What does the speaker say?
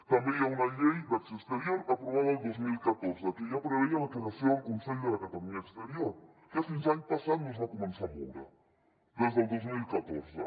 també hi ha una llei d’acció exterior aprovada el dos mil catorze que ja preveia la creació del consell de la catalunya exterior que fins l’any passat no es va començar a moure des del dos mil catorze